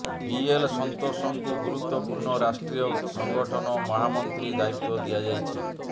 BL ସନ୍ତୋଷଙ୍କୁ ଗୁରୁତ୍ବପୂର୍ଣ୍ନ ରାଷ୍ଟ୍ରୀୟ ସଂଗଠନ ମହାମନ୍ତ୍ରୀ ଦାୟିତ୍ବ ଦିଆଯାଇଛି